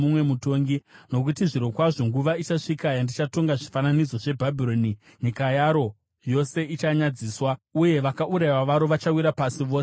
Nokuti zvirokwazvo nguva ichasvika yandichatonga zvifananidzo zveBhabhironi; nyika yaro yose ichanyadziswa, uye vakaurayiwa varo vachawira pasi vose mukati maro.